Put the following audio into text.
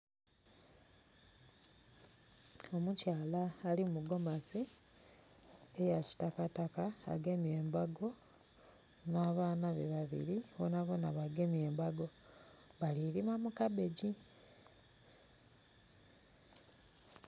Mukyala ali mu gomasi eya kitakataka agemye embago, nh'abaana be babiri bonabona bagemye embago bali kulima mu kabegi.